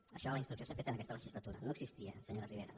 d’això la instrucció s’ha fet en aquesta legis·latura no existia senyora ribera